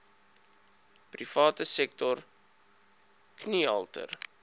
private sektor kniehalter